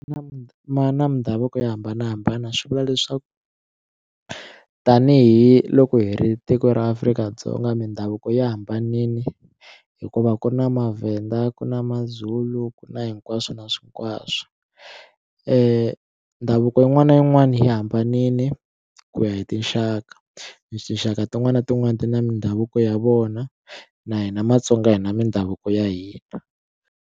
Na ma na mindhavuko yo hambanahambana swi vula leswaku tanihiloko hi ri tiko ra Afrika-Dzonga mindhavuko ya hambanile hikuva ku na mavhenda ku na mazulu ku na hinkwaswo na hinkwaswo ndhavuko yin'wana na yin'wana yi hambanile ku ya hi tinxaka tinxaka tin'wani na tin'wani ti na mindhavuko ya vona na hina matsonga hina mindhavuko ya hina.